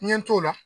N ɲɛ t'o la